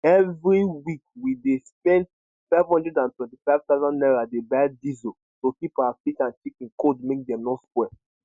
every week we dey spend 525000 naira dey buy diesel to keep our fish and chicken cold make dem no spoil